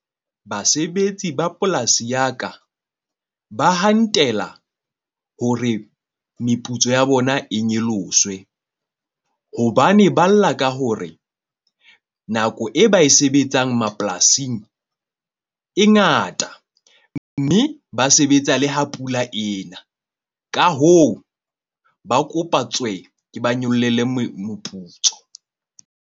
Basebetsi ba polasi ya ka ba hantela hore meputso ya bona e nyoloswe. Hobane ba lla ka hore nako e ba e sebetsang mapolasing e ngata. Mme ba sebetsa le ha pula ena. Ka hoo, ba kopa tswe ke ba nyollele moputso.